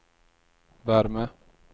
värme